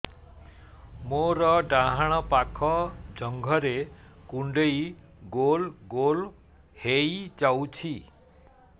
ମୋର ଡାହାଣ ପାଖ ଜଙ୍ଘରେ କୁଣ୍ଡେଇ ଗୋଲ ଗୋଲ ହେଇଯାଉଛି